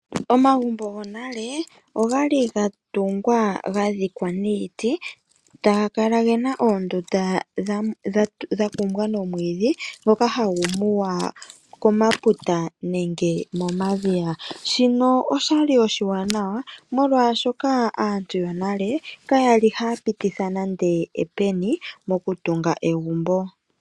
Omagumbo gonale ogali gatungwa gadhikwa niiti, taga kala gena oondunda dhakumbwa nomwiidhi ngoka hagu muwa komaputa nenge momadhiya. Shino oshali oshiwanawa molwaashoka aantu yonale kaya li haya pititha nande epeni mokutunga egumbo.